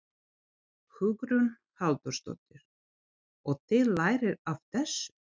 Hugrún Halldórsdóttir: Og þið lærið af þessu?